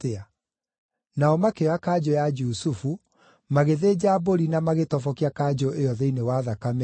Nao makĩoya kanjũ ya Jusufu, magĩthĩnja mbũri na magĩtobokia kanjũ ĩyo thĩinĩ wa thakame ĩyo.